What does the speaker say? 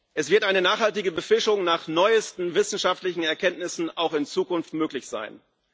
Es wird eine nachhaltige Befischung nach neuesten wissenschaftlichen Erkenntnissen auch in Zukunft möglich sein.